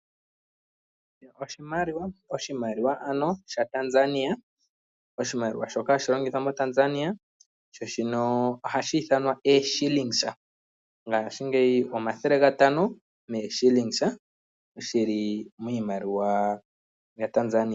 Oshimaliwa Oshimaliwa shaTanzania. Oshimaliwa shoka hashi longithwa moTanzania nohashi ithanwa ooshilinga. Ngaashingeyi ooshilinga omathele gatano dhi li miimaliwa yaTanzania.